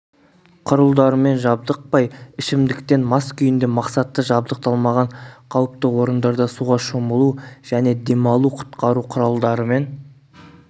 құрылдарымен жабдықпай ішімдіктен мас күйінде мақсатты жабдықталмаған қауіпті орындарда суға шомылу және демалу құтқару құралдарымен